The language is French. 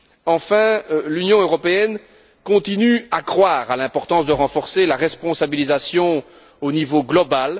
Enfin, l'Union européenne continue de croire à l'importance de renforcer la responsabilisation au niveau global.